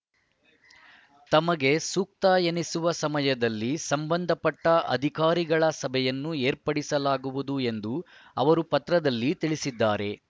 ತಮಗೆ ಸೂಕ್ತ ಎನಿಸುವ ಸಮಯದಲ್ಲಿ ಸಂಬಂಧಪಟ್ಟಅಧಿಕಾರಿಗಳ ಸಭೆಯನ್ನು ಏರ್ಪಡಿಸಲಾಗುವುದು ಎಂದು ಅವರು ಪತ್ರದಲ್ಲಿ ತಿಳಿಸಿದ್ದಾರೆ